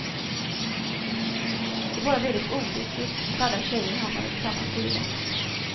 Det är bara väldigt olyckligt att alla tjejer hamnade på samma sida.